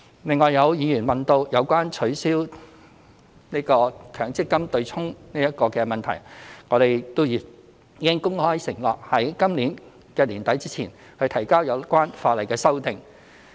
另外有議員問及取消強制性公積金"對沖"的問題，我們已公開承諾在今年年底前提交有關法例的修訂。